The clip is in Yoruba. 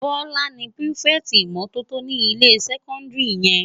Bola ni pirifèti imòtótó ni ilé sèkòndiri yèn